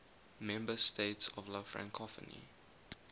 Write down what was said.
member states of la francophonie